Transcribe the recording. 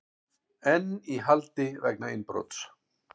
Einn í haldi vegna innbrots